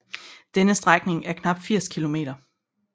Denne strækning er knap 80 km